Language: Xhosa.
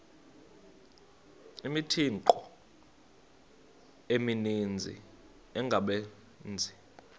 imithqtho emininzi engabaqbenzi